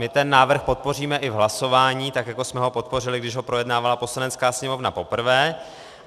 My ten návrh podpoříme i v hlasování, tak jako jsme ho podpořili, když ho projednávala Poslanecká sněmovna poprvé.